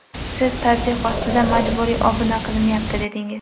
Siz tazyiq ostida majburiy obuna qilinyapti, dedingiz.